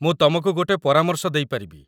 ମୁଁ ତମକୁ ଗୋଟେ ପରାମର୍ଶ ଦେଇପାରିବି